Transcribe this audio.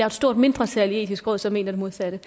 et stort mindretal i det etiske råd som mener det modsatte